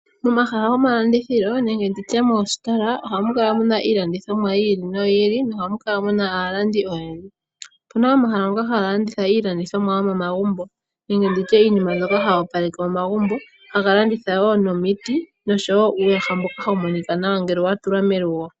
Momahala go malandithilo nenge nditye moo sitola ohamu kala iilandithomwa yi ili noyi ili, nohamukala muna aalandi oyendji. Opuna omahala ngoka haga landitha iilandithomwa yo momagumbo, nenge nditye iinima mbyoka hayi opaleke omagumbo. Ohaga landitha woo nomiti nosho woo uuyaha mboka hawu monika nawa ngele watulwa melugo.